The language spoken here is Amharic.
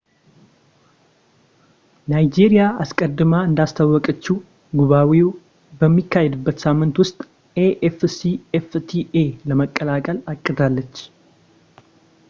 ናይጄሪያ አስቀድማ እንዳስታወቀችው ጉባኤው በሚካሄድበት ሳምንት ውስጥ afcfta ለመቀላቀል አቅዳለች